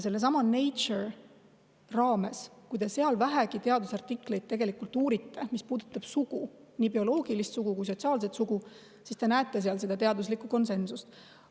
Kui te vähegi uurite Nature teadusartikleid, mis puudutavad sugu, nii bioloogilist sugu kui ka sotsiaalset sugu, siis te näete seda teaduslikku konsensust.